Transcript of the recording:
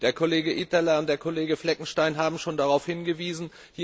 Der Kollege Itälä und der Kollege Fleckenstein haben schon darauf hingewiesen.